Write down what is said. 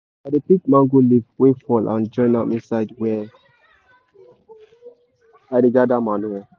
i dey pick mango leaf wey fall and join am inside where i dey gather manure.